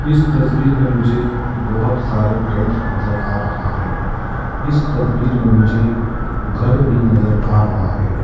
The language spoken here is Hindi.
इस तस्वीर मे मुझे बहोत सारे टेंट नजर आ रहा है इस तस्वीर में मुझे घर भी नजर आ रहा है।